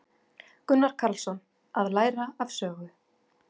Gunnar Karlsson: Að læra af sögu.